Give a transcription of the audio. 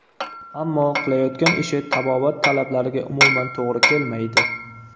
Ammo qilayotgan ishi tabobat talablariga umuman to‘g‘ri kelmaydi.